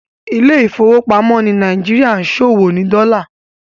Ilé ìfowópamọ́ ni Nàìjíríà ṣòwò ní Dola.